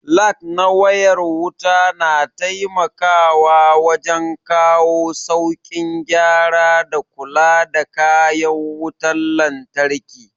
Lag na wayar wuta na taimakawa wajen kawo saukin gyara da kula da kayan wutan lantraki